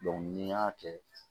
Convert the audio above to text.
ni n y'a kɛ